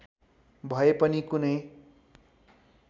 भए पनि कुनै